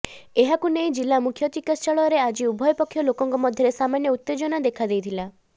ଏହାକୁ ନେଇ ଜିଲାମୁଖ୍ୟ ଚିକିତ୍ସାଳୟରେ ଆଜି ଉଭୟ ପକ୍ଷ ଲୋକଙ୍କ ମଧ୍ୟରେ ସାମାନ୍ୟ ଉତ୍ତେଜନା ଦେଖାଦେଇଥିଲା